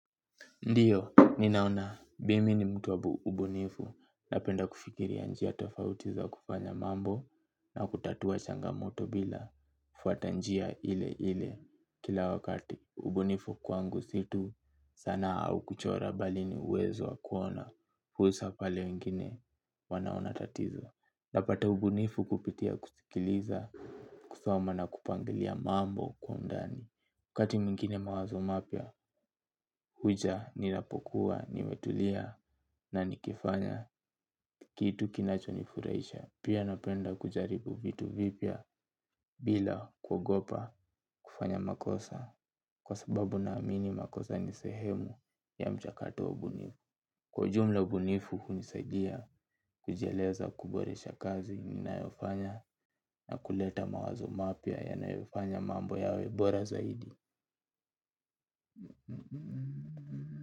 Ndiyo, ninaona mimi ni mtu wa ubunifu, napenda kufikiria njia tofauti za kufanya mambo na kutatua changamoto bila. Fuata njia ile ile kila wakati, ubunifu kwangu si tu sanaa au kuchora, bali ni uwezo wa kuona fursa pale wengine wanaona tatizo. Napata ubunifu kupitia kusikiliza, kusoma na kupangilia mambo kwa undani. Wakati mwingine mawazo mapya huja ninapokuwa nimetulia na nikifanya kitu kinachonifurahisha. Pia napenda kujaribu vitu vipya bila kuogopa kufanya makosa kwa sababu naamini makosa ni sehemu ya mchakato wa ubunifu. Kwa ujumla, ubunifu hunisaidia kujieleza, kuboresha kazi ninayofanya na kuleta mawazo mapya ninayofanya mambo yawe bora zaidi.